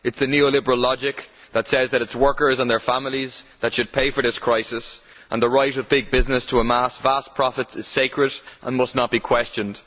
It is the neoliberal logic that says that it is workers and their families who should pay for this crisis, and that the right of big business to amass vast profits is sacred and must not be questioned.